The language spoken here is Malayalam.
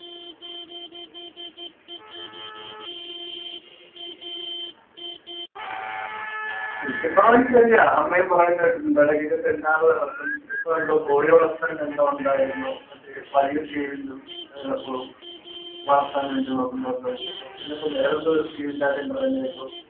കൃഷി ഭവന്‍ ശരിയാ. അമ്മയും പറയുന്നേ കേട്ടിട്ടുണ്ട്. എടയ്ക്കൊക്കെ സെമിനാറു നടത്തും. ഇപ്പൊ എന്തോ കോഴിവളര്‍ത്തലിന്‍റെ എന്തോ ഉണ്ടാരുന്നു. മറ്റേ വലിയ scale ഇല് വളര്‍ത്താന്‍ വേണ്ടീട്ട് നോക്കുന്നവര്‍ക്ക് വേണ്ടീട്ട് പിന്നെ ഇപ്പൊ വേറെന്തോ scheme ന്‍റെ കാര്യം പറയുന്നേ കേട്ടു.